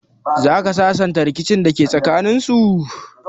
Zaka sasanta rikicin dake tsakaninsu?